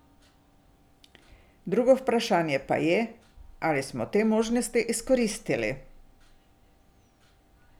Drugo vprašanje pa je, ali smo te možnosti izkoristili.